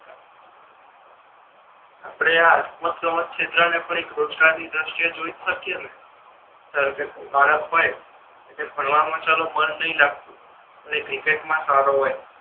આપડે આ રમત ગમત છે એટલા એને પણ રોજગાર ની દ્રષ્ટિ એ જોઈ જ સકીએ ને ધારો કે બાળક હોય ભણવામા ચાલો મન નહી લાગતુ તો એ ક્રિકેટ મા સારો હોય